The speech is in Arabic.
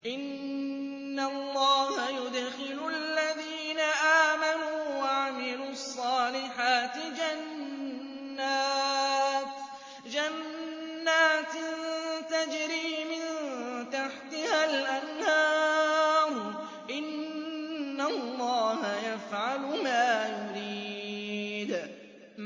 إِنَّ اللَّهَ يُدْخِلُ الَّذِينَ آمَنُوا وَعَمِلُوا الصَّالِحَاتِ جَنَّاتٍ تَجْرِي مِن تَحْتِهَا الْأَنْهَارُ ۚ إِنَّ اللَّهَ يَفْعَلُ مَا يُرِيدُ